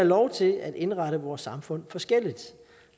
lov til at indrette vores samfund forskelligt